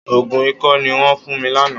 Òògùn ikọ́ ni wọ́n fún mi lánàá.